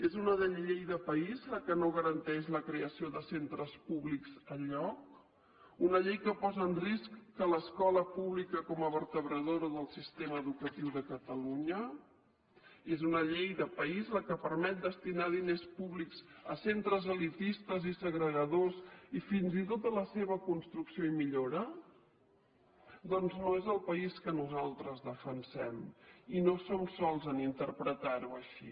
és una llei de país la que no garanteix la creació de centres públics enlloc una llei que posa en risc l’escola pública com a vertebradora del sistema educatiu de catalunya és una llei de país la que permet destinar diners públics a centres elitistes i segregadors i fins i tot a la seva construcció i millora doncs no és el país que nosaltres defensem i no som sols a interpretarho així